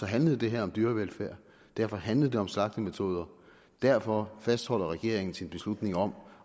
handlede det her om dyrevelfærd derfor handlede det om slagtemetoder og derfor fastholder regeringen sin beslutning om